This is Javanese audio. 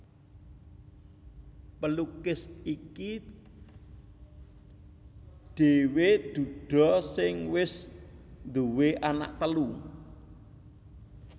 Pelukis iki dhéwé duda sing wis nduwé anak telu